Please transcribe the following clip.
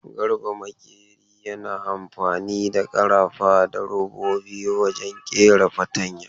Garba makeri yana amfani da karafa da robobi wajen kera fatanya.